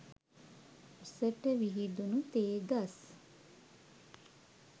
උසට විහිදුණු තේ ගස්